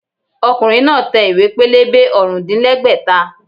Ọkùnrin náà tẹ àwọn ìwé-pélébé ọ̀rùndínlẹ́gbẹ́ta